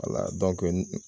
Wala dɔnkɛ